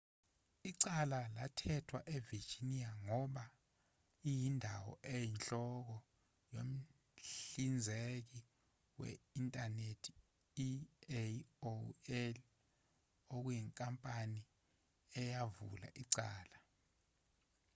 icala lathethwa e-virginia ngoba iyindawo eyinhloko yomhlinzeki we-inthanethi i-aol okuyinkampani eyavula icala